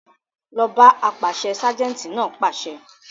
Lọ ọ́ bá apàṣẹ! ságẹ́ńtì náà pàṣẹ.